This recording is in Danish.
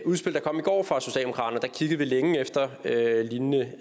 udspil der kom i går fra socialdemokraterne der kiggede vi længe efter lignende